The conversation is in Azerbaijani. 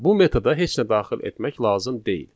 Bu metoda heç nə daxil etmək lazım deyil.